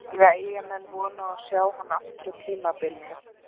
Eiga Eyjamenn von á að sjá hann aftur á tímabilinu?